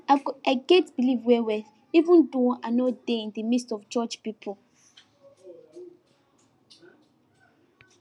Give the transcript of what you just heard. i get believe well well even though i no dey in the midst of church pipo